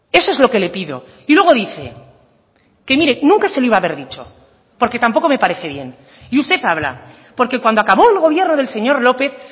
eso es lo que le pido y luego dice que mire nunca se lo iba a haber dicho porque tampoco me parece bien y usted habla porque cuando acabó el gobierno del señor lópez